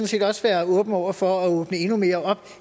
set også være åben over for at åbne endnu mere op